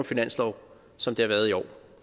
finanslov som det har været i år